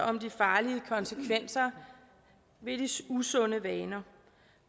om de farlige konsekvenser ved de usunde vaner